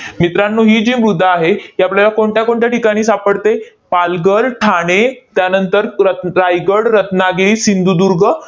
मित्रांनो, ही जी मृदा आहे, ती आपल्याला कोणत्या कोणत्या ठिकाणी सापडते? पालघर, ठाणे, त्यानंतर रत रायगड, रत्नागिरी, सिंधुदुर्ग